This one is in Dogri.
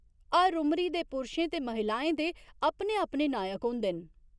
हर उमरी दे पुरुशें ते महिलाएं दे अपने अपने नायक होंदे न।